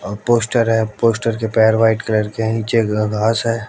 अ poster है poster पैर white colour के हैं नीचे घ घास है।